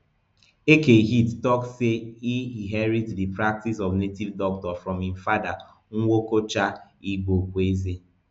eke hit tok say e inherit di practice of native doctor from im father nwokocha igboekweze